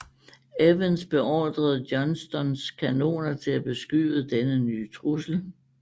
Evans beordrede Johnstons kanoner til at beskyde denne nye trussel